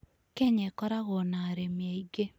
Kenya ĩkoragwo na arĩmi aingĩ